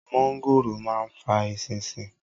mọ́ńgòrò ma ń fa “ eṣinṣin”